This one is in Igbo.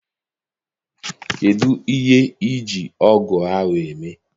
Kedụ ihe I ji ọgụ ahụ eme?